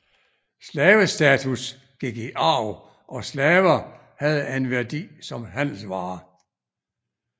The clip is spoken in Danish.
Slavestatus gik i arv og slaver havde en værdi som handelsvare